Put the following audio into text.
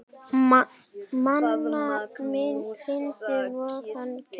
Minna fyndinn vegna þeirra.